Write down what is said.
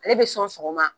Ale bɛ sɔn sɔgɔma